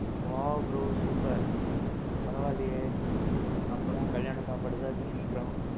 wow bro super. பரவா இல்லியே, அப்பறோம் கல்யாண சாப்பாடு தான் சீக்கிறோம்.